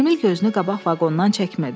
Emil gözünü qabaq vaqondan çəkmirdi.